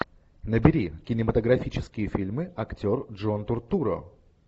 набери кинематографические фильмы актер джон туртурро